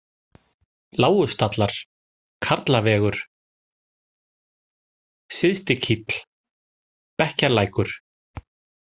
Lágustallar, Karlavegur, Syðstikíll, Bekkjalækur